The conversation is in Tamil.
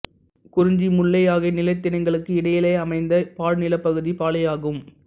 குறிஞ்சி முல்லை ஆகிய நிலத்திணைகளுக்கு இடையிலமைந்த பாழ் நிலப் பகுதி பாலை ஆகும்